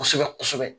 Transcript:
Kosɛbɛ kosɛbɛ